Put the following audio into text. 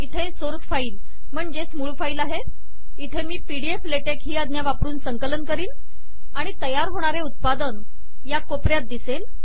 इथे मूळ फाईल आहे इथे मी पीडीएफ ले टेक ही आज्ञा वापरून संकलन करीन आणि तयार होणारे उत्पादन या कोपऱ्यात दिसेल